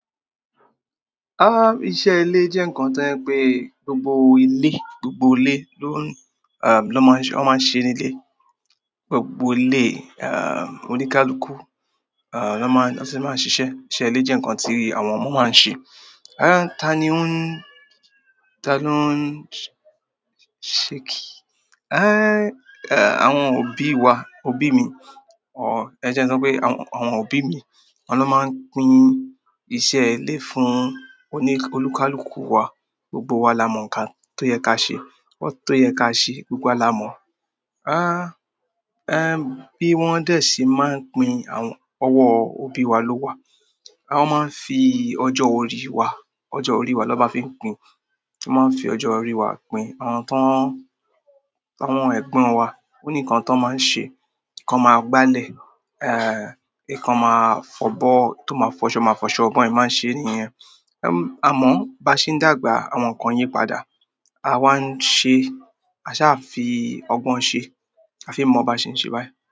Iṣẹ́ ilé jẹ́ ǹnkan tí jẹ pé gbogbo ilé ló máa n ṣe, wọ́n máa ń ṣe nílé. Gbogbo eleyii, oníkálukú, ló máa ń, wọ́n sì máa ń ṣiṣẹ́. Iṣẹ́ ilé jẹ́ ǹnkan tí àwọn ọmọ máa ń ṣe. Rárá, ta ni ó ń ṣe kìí? Àwọn òbí wa, òbí mi, ẹ jẹ́ kí ń sọ pé àwọn òbí mi, awọ́n ló máa ń pín iṣẹ́ ilé fún olúkálúkù wa. Gbogbo wa la mọ ǹnkan tó yẹ ká ṣe, tó yẹ ká ṣe, gbogbo wa la mọ. Bí wọ́n dẹ̀ sí máa ń pín, ọwọ́ òbí wa ló wà. Wọ́n máa ń fi ọjọ́ orí wa, ọjọ́ orí wa ló bá fi ń pín. Wọn máa n fi ọjọ orí wa pín àwọn ẹ̀gbọ́n wa, ó ní ǹnkan tó máa ń ṣe, ikan máa gbálẹ̀, ìkan máa fọ́bọ́, tó máa fọṣọ, máa fọṣọ, bi wọn ṣe máa ń ṣe nìyen. Àmọ́ bá ṣe ń dàgbà àwọn ǹnkan yìí padà, à wa ń ṣe, a sá fi ọgbọ́n ṣe, a fi ì mọ̀ ọ ba ṣe ń ṣe báyìí.